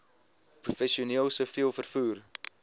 professioneel siviel vervoer